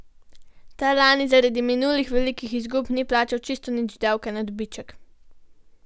Ta lani zaradi minulih velikih izgub ni plačal čisto nič davka na dobiček.